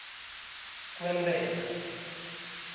kwentela